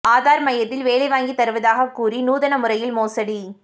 ஆதார் மையத்தில் வேலை வாங்கித் தருவதாக கூறி நூதன முறையில் மோசடி